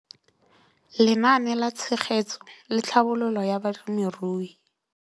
Lenaane la Tshegetso le Tlhabololo ya Balemirui